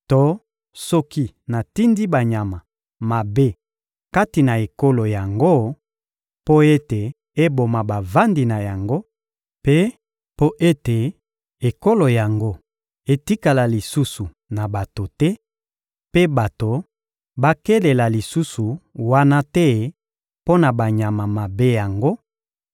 To soki natindi banyama mabe kati na ekolo yango mpo ete eboma bavandi na yango, mpe mpo ete ekolo yango etikala lisusu na bato te mpe bato balekela lisusu wana te mpo na banyama mabe yango;